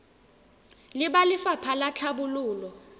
le ba lefapha la tlhabololo